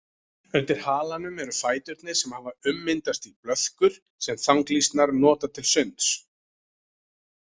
Undir halanum eru fæturnir sem hafa ummyndast í blöðkur sem þanglýsnar nota til sunds.